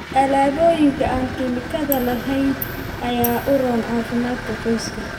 Alaabooyinka aan kiimikaad lahayn ayaa u roon caafimaadka qoyska.